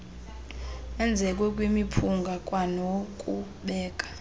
wenzeke kwimiphunga kwanokubeka